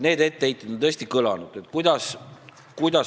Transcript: Need etteheited on tõesti kõlanud.